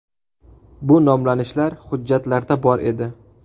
Bu nomlanishlar hujjatlarda bor edi.